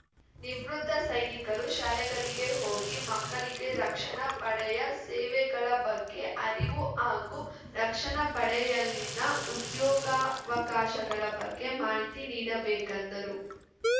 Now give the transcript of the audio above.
ನಿವೃತ್ತ ಸೈನಿಕರು ಶಾಲೆಗಳಿಗೆ ಹೋಗಿ ಮಕ್ಕಳಿಗೆ ರಕ್ಷಣಾ ಪಡೆಯ ಸೇವೆಗಳ ಬಗ್ಗೆ ಅರಿವು ಹಾಗೂ ರಕ್ಷಣಾ ಪಡೆಯಲ್ಲಿನ ಉದ್ಯೋಗಾವಕಾಶಗಳ ಬಗ್ಗೆ ಮಾಹಿತಿ ನೀಡಬೇಕೆಂದರು